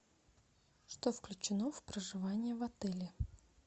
что включено в проживание в отеле